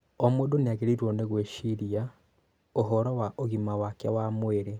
O mũndũ nĩagĩrĩirũo nĩ gwĩciria ũhoro wa ũgima wake wa mwĩrĩ.